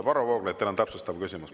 Varro Vooglaid, teil on täpsustav küsimus.